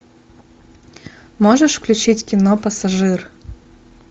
можешь включить кино пассажир